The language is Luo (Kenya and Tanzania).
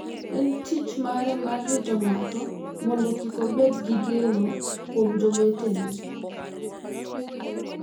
En tich mare mar rito ng’ato mondo kik obed gi geno kuom jowetene.